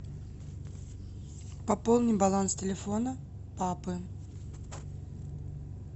пополни баланс телефона папы